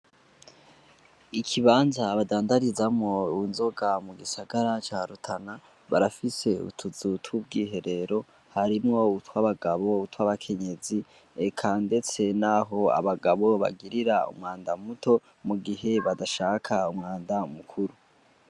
Ikibanza badandarizamwo inzoga mu gisagara ca Rutana, barafise utuzu tw'ubwiherero. Harimwo utw'abagabo, utw'abakenyezi, eka ndetse n'aho abagabo bagirira umwanda muto mu gihe badashaka umwanda mukuru.